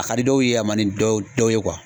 A ka di dɔw ye, a man ni dɔ dɔw ye